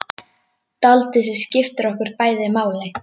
Dáldið sem skiptir okkur bæði máli.